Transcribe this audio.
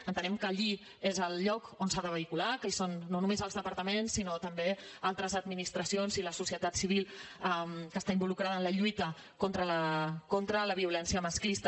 entenem que allí és el lloc on s’ha de vehicular que hi són no només els departaments sinó també altres administracions i la societat civil que està involucrada en la lluita contra la violència masclista